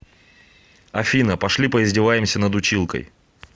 афина пошли поиздеваемся над училкой